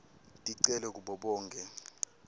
ticelo kubo bonkhe